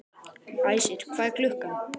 Æsir, hvað er klukkan?